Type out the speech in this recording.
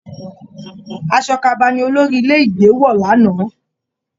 Aṣọ ka'aba ní olórí ilé ìgbé wọ l'ana.